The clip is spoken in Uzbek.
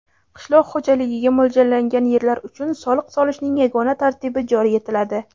qishloq xo‘jaligiga mo‘ljallangan yerlar uchun soliq solishning yagona tartibi joriy etiladi;.